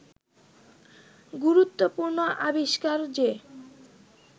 গুরুত্বপূর্ণ আবিষ্কার যে